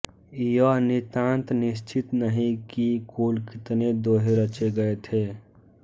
यह नितांत निश्चित नहीं कि कुल कितने दोहे रचे गए थे